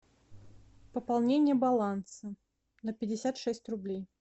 пополнение баланса на пятьдесят шесть рублей